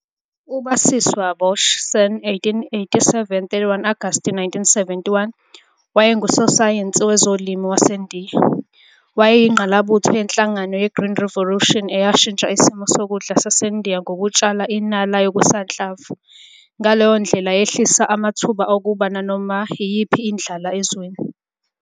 Izithombe zakhe, ngamazwi kaHannah Abel-Hirsch ebhala "kwiBritish Journal of Photography," "zihlanganiswe ukuhlola kwabo umbono wekhaya, kanye nezimo zenhlalo, ezepolitiki, noma ezomnotho ezingabumba ubudlelwano bethu nayo."